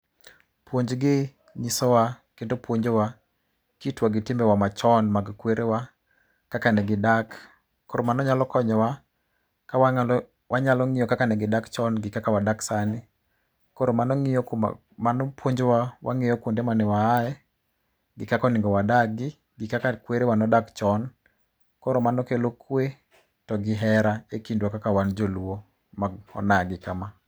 Puonjgi nyiso wa kendo puonjo wa kitwa gi timbe wa machon mag kwere wa kaka ne gidak. Koro mano nyalo konyowa ka wanyalo ng'iyo kaka ne gidak chon gi kaka wadak sani. Koro mano ng'iyo puonjowa wang'iyo kuonde mane wa aye gi kaka onego wadagi gi kaka kwere wa nodak chon. Koro mano kelo kwe to gi hera e kindwa kaka wan Joluo ma onagi kama.